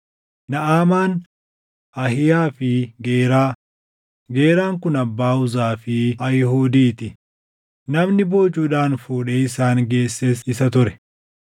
Naʼamaan, Ahiiyaa fi Geeraa; Geeraan kun abbaa Uzaa fi Ahiihudii ti; namni boojuudhaan fuudhee isaan geesses isa ture.